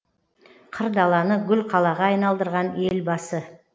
қыр даланы гүл қалаға айналдырған елбасы